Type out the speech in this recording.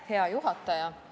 Hea juhataja!